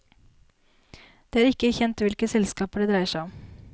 Det er ikke kjent hvilke selskaper det dreier seg om.